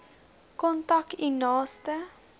kontak u naaste